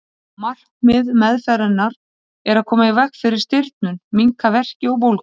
Markmið meðferðarinnar er að koma í veg fyrir stirðnun, minnka verki og bólgu.